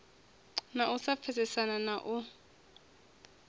na u sa pfesesana na